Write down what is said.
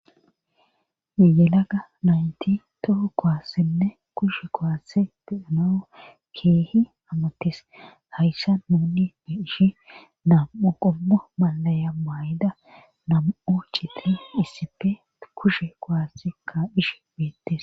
Yelaga naynti toho kowassenne kushe kowasse dedeno keehi amattes hayssa nuni heishi nam7u qommo malaya may7ida nam7u cifi issipe kushe kowase ka dhish beettes